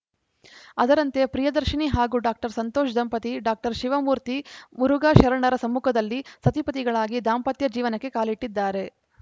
ಅದರಂತೆ ಪ್ರಿಯದರ್ಶಿನಿ ಹಾಗೂ ಡಾಕ್ಟರ್ ಸಂತೋಷ್‌ ದಂಪತಿ ಡಾಕ್ಟರ್ ಶಿವಮೂರ್ತಿ ಮುರುಘಾಶರಣರ ಸಮ್ಮುಖದಲ್ಲಿ ಸತಿಪತಿಗಳಾಗಿ ದಾಂಪತ್ಯ ಜೀವನಕ್ಕೆ ಕಾಲಿಟ್ಟಿದ್ದಾರೆ